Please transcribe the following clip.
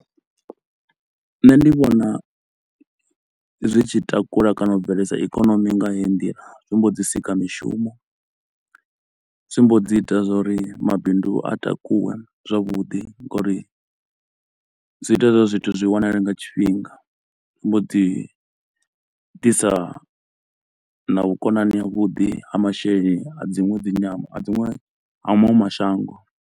Nṋe ndi vhona zwi tshi takula kana u bveledza ikonomi nga heyi ndila, zwi mbo ḓi sika mishumo, zwi mbo dzi ita zwauri mabindu a takuwe zwavhuḓi ngauri zwi ita zwa uri zwithu zwi wanale nga tshifhinga. Zwi mbo ḓi ḓisa na vhukonani ha vhuḓi ha masheleni a dziṅwe dzi nyambo a dziṅwe ha maṅwe mashango.